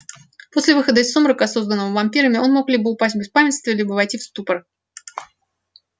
после выхода из сумрака созданного вампирами он мог либо упасть в беспамятство либо войти в ступор